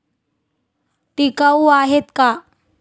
टिकाऊ आहेत का?